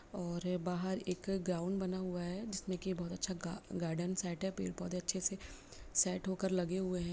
और बाहर एक ग्राउंड बना हुआ है जिसमें के बहोत अच्छा गा गार्डन सेट है पेड़ पौधे अच्छे से सेट होकर लगे हुए हैं।